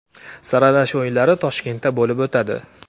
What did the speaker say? Saralash o‘yinlari Toshkentda bo‘lib o‘tadi.